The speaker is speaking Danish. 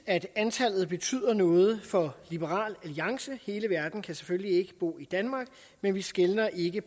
at antallet betyder noget for liberal alliance hele verden kan selvfølgelig ikke bo i danmark men vi skelner ikke